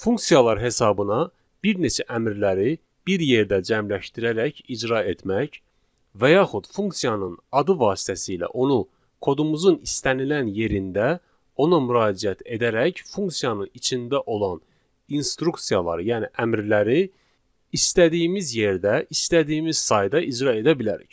Funksiyalar hesabına bir neçə əmrləri bir yerdə cəmləşdirərək icra etmək və yaxud funksiyanın adı vasitəsilə onu kodumuzun istənilən yerində ona müraciət edərək funksiyanın içində olan instruksiyaları, yəni əmrləri istədiyimiz yerdə, istədiyimiz sayda icra edə bilərik.